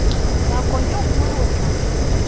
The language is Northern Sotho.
nako ye nngwe o tla